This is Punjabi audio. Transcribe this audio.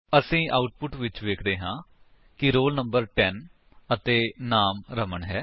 ਅਸੀ ਆਉਟਪੁਟ ਵਿੱਚ ਵੇਖਦੇ ਹਾਂ ਕਿ ਰੋਲ ਨੰਬਰ ਟੇਨ ਅਤੇ ਨਾਮ ਰਮਨ ਹੈ